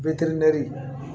Bɛ teri ne